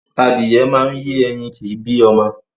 Adìyẹ máa ń yé ẹyin kìí bí ọmọ